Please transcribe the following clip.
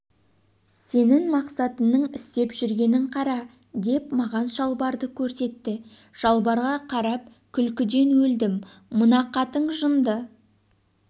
сенің мақсатыңның істеп жүргенін қара деп маған шалбарды көрсетті шалбарға қарап күлкіден өлдім мынақатын жынды